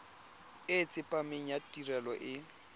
e tsepameng ya tirelo e